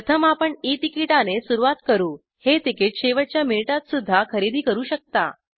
प्रथम आपण ई तिकीटाने सुरवात करू हे तिकीट शेवटच्या मिनिटातसुद्धा खरेदी करू शकता